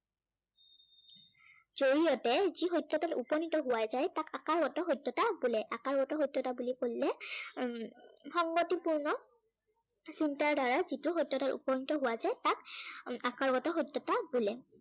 জড়িয়তে যি সত্য়াতত উপনীত হোৱা যায় তাক আকাৰগত সত্য়াতা বোলে। আকাৰগত সত্য়তা বুলি কলে উম সংগতিপূৰ্ণ চিন্তাধাৰৰে যিটো সত্য়ত উপনীত হোৱা যায় তাক উম আকাৰগত সত্য়তা বোলে।